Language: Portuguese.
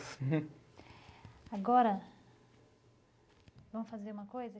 Agora, vamos fazer uma coisa